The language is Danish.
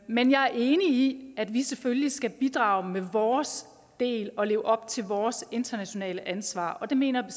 men jeg er enig i at vi selvfølgelig skal bidrage med vores del og leve op til vores internationale ansvar det mener jeg